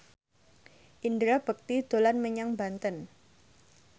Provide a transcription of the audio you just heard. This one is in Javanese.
Indra Bekti dolan menyang Banten